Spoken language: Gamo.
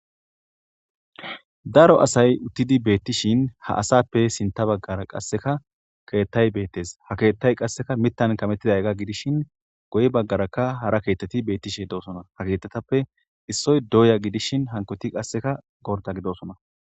daro asay uttidi beettishin ha asappe sinta baggara qasseka keettay beettes ha keettay qasseka mittan kamettiday ga gidishin goy baggarakka hara keetteti beettishe doosona ha keetetappe issoy doya gidishin hankoti qasseka gorda gidosona